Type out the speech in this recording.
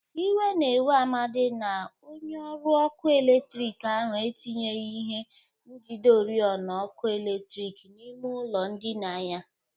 Iwe na-ewe Amadị na onyeọrụ ọkụ eletriki ahụ etinyeghi ihe njide ọrịọna ọkụ eletriki n'ime ụlọ ndịna ya.